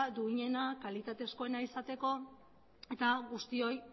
duinena kalitatezkoena izateko eta guztioi